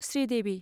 Sridevi